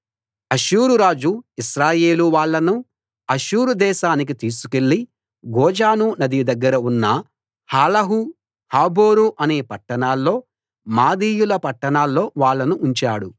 అష్షూరు రాజు ఇశ్రాయేలు వాళ్ళను అష్షూరు దేశానికి తీసుకెళ్ళి గోజాను నది దగ్గర ఉన్న హాలహు హాబోరు అనే పట్టణాల్లో మాదీయుల పట్టణాల్లో వాళ్ళను ఉంచాడు